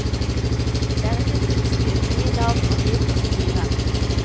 Det er nytt utstyr, nye navn og nye prosedyrer.